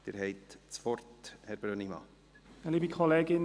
Sie haben das Wort, Herr Brönnimann.